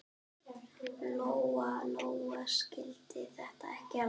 Lóa-Lóa skildi þetta ekki alveg.